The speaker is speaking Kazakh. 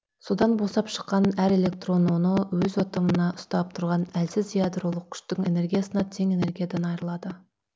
содан босап шыққан әр электрон оны өз атомында ұстап тұрған әлсіз ядролық күштің энергиясына тең энергиядан айырылады